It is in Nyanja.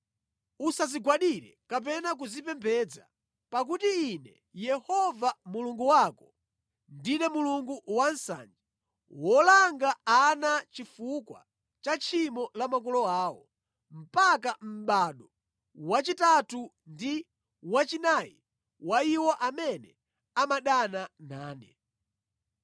Usazigwadire kapena kuzipembedza, pakuti Ine Yehova Mulungu wako, ndine Mulungu wansanje, wolanga ana chifukwa cha tchimo la makolo awo mpaka mʼbado wachitatu ndi wachinayi wa iwo amene amadana nane.